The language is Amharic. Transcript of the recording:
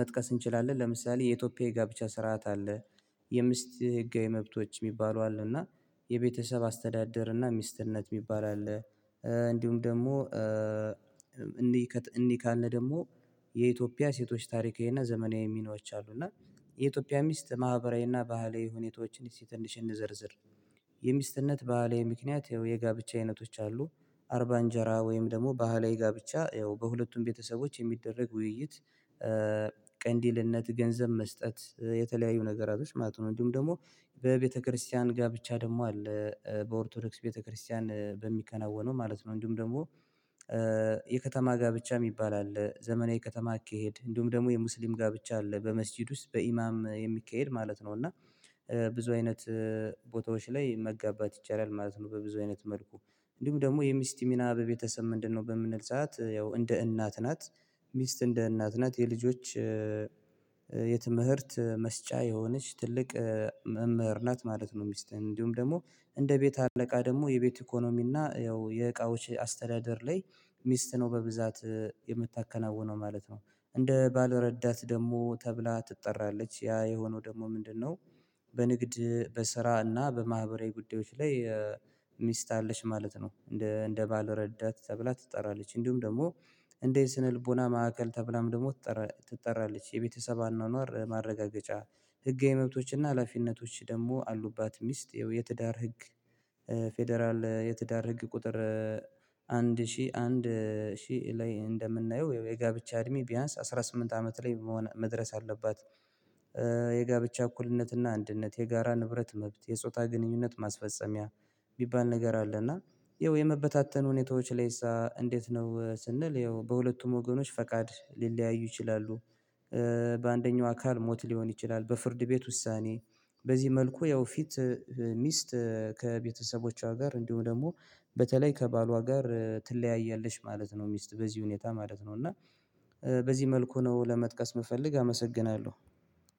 መጥቀስ እንችላለን? ለምሳሌ የኢትዮጵያ ጋብቻ ስርዓት አለ። የሚስት ህጋዊ መብቶች የሚባሉ አሉ እና የቤተሰብ አስተዳደር እና ሚስትነት የሚባል አለ። እንዲሁም ደግሞ እንይህ እንይህ ካለን ደግሞ የኢትዮጵያ ሴቶች ታሪካዊና ዘመናዊ ሚናዎች አሉ። እና የኢትዮጵያ ሚስት ማህበራዊና ባህላዊ ሁኔታዎችን ትንሽ እንዘርዝር። የሚስትነት ባህላዊ ምክንያት ይኸው የጋብቻ አይነቶች አሉ አርባ እንጀራ ወይም ደግሞ ባህላዊ ጋብቻ ያው በሁለቱም ቤተሰቦች የሚደረግ ውይይት ቅንዲልነት ገንዘብ መስጠት የተለያዩ ነገራቶች ማለት ነው። እንዲሁም ደግሞ በቤተክርስቲያን ጋብቻ ደግሞ አለ በኦርቶዶክስ ቤተክርስቲያን በሚከናወነው ማለት ነው። እንድሁም ደግሞ የከተማ ጋብቻ የሚባል አለ ዘመናዊ ከተማ አካሄድ እንዲሁም ደግሞ የሙስሊም ጋብቻ አለ በመስጂድ ውስጥ በኢማም የሚካሄድ ማለት ነው። እና ብዙ አይነት ቦታዎች ላይ መጋባት ይቻላል ማለት ነው። በብዙ አይነት መልኩ እንዲሁም ደግሞ የሚስት ሚና በቤተሰብ ምንድነው? በምንል ሰዓት ያው እንደ እናት ናት። ሚስት እንደ እናት ናት የልጆች የትምህርት መስጫ የሆነች ትልቅ መምህር ናት ማለት ነው። ሚስትእንዲሁም ደግሞ እንደ ቤት አለቃ ደግሞ የቤት ኢኮኖሚ እና ያው የእቃዎች አስተዳደር ላይ ሚስት ነው በብዛት የምታከናውነው ማለት ነው። እንደ ባል ረዳት ደግሞ ተብላ ትጠራለች ያ የሆነው ደግሞ ምንድነው? በንግድ በስራ እና በማህበራዊ ጉዳዮች ላይ ሚስት አለች ማለት ነው። እንደ እንደ ባልረዳት ተብላ ትጠራለች እንዲሁም ደግሞ እንደ ስነ ልቦና ማዕከል ተብላም ደግሞ ትጠራለች የቤተሰብ አኗኗር ማረጋገጫ። ህጋዊ መብቶችና ሀላፊነቶች ደግሞ አሉባት። ሚስት የትዳር ህግ ፌደራል የትዳር ህግ ቁጥር አንድ ሺህ አንድ ሺህ ላይ እንደምናየው የጋብቻ እድሜ ቢያንስ አስራ ስምንት አመት ላይ መሆን መድረስ አለባት። የጋብቻ እኩልነትና አንድነት የጋራ ንብረት መብት የጾታ ግንኙነት ማስፈጸሚያ የሚባል ነገር አለና ይኸው የመበታተን ሁኔታዎች ላይስ እንዴት ነው ስንል ይኸው በሁለቱም ወገኖች ፈቃድ ሊለያዩ ይችላሉ። በአንደኛው አካል ሞት ሊሆን ይችላል። በፍርድ ቤት ውሳኔ በዚህ መልኩ ያው ፊት ሚስት ከቤተሰቦቿ ጋር እንዲሁም ደግሞ በተለይ ከባሏ ጋር ትለያያለች። ማለት ነው ሚስት በዚህ ሁኔታ ማለት ነው። እና በዚህ መልኩ ነው ለመጥቀስ የምፈልግ አመሰግናለሁ።